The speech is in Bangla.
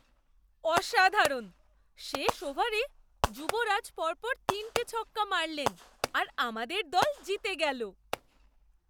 অসাধারণ! শেষ ওভারে যুবরাজ পরপর তিনটে ছক্কা মারলেন আর আমাদের দল জিতে গেলো।